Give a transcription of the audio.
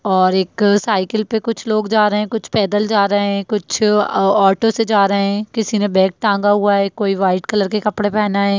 और एक साइकिल पे कुछ लोग जा रहे हैं कुछ पैदल जा रहे हैं कुछ औ ऑटो से जा रहे हैं किसी ने बैग टांगा हुआ है कोई वाइट कलर के कपड़े पहना है।